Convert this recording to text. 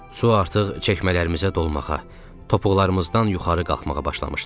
Su artıq çəkmələrimizə dolmağa, topuqlarımızdan yuxarı qalxmağa başlamışdı.